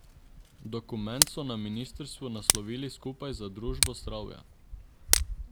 Dokument so na ministrstvu naslovili Skupaj za družbo zdravja.